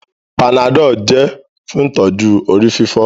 Panadol jẹ fún ìtọjú orí-fífọ́